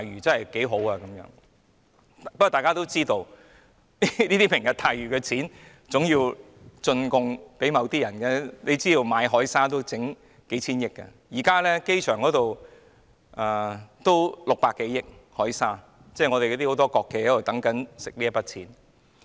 然而，大家都知道，"明日大嶼"所涉及的開支，總要"進貢"給某些人，單是購買海沙亦要數千億元——現時機場所用的海沙也要600多億元——很多國企正在等待賺這筆錢。